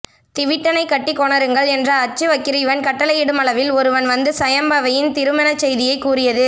திவிட்டனைக் கட்டிக் கொணருங்கள் என்ற அச்சுவக்கிரீவன் கட்டளையிடுமளவில் ஒருவன் வந்து சயம்பவையின் திருமணச் செய்தியைக் கூறியது